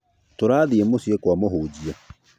Tũrathiĩ mũciĩ kwa mũhunjia